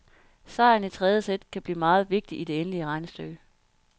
Sejren i tredje sæt kan blive meget vigtig i det endelige regnestykke.